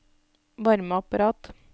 varmeapparat